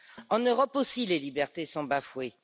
En Europe aussi, les libertés sont bafouées.